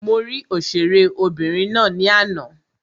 Mo rí òṣèré obìnrin ná ní àná.